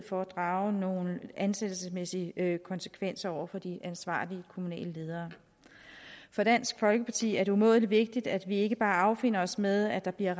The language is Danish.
for at drage nogle ansættelsesmæssige konsekvenser over for de ansvarlige kommunale ledere for dansk folkeparti er det umådelig vigtigt at vi ikke bare affinder os med at der bliver